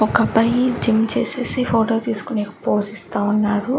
ఒక అబ్బాయి జిమ్ చేసేసి ఫోటో తీసుకునేకి ఫోజ్ ఇస్తావున్నారు.